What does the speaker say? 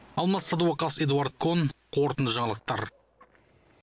алмас сәдуақас эдуард кон қорытынды жаңалықтар